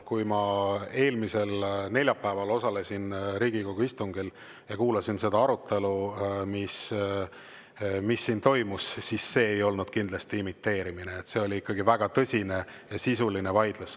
Kui ma eelmisel neljapäeval osalesin Riigikogu istungil ja kuulasin seda arutelu, mis siin toimus, siis see ei olnud kindlasti imiteerimine, vaid see oli ikkagi väga tõsine ja sisuline vaidlus.